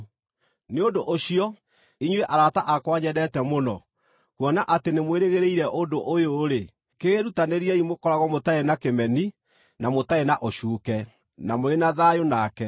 Nĩ ũndũ ũcio, inyuĩ arata akwa nyendete mũno, kuona atĩ nĩmwĩrĩgĩrĩire ũndũ ũyũ-rĩ, kĩĩrutanĩriei mũkoragwo mũtarĩ na kĩmeni, na mũtarĩ na ũcuuke, na mũrĩ na thayũ nake.